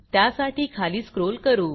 त्यासाठी खाली स्क्रॉल करू